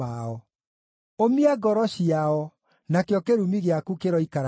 Ũmia ngoro ciao, nakĩo kĩrumi gĩaku kĩroikara nao!